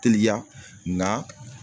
Teliya na